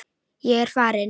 Ég er farinn.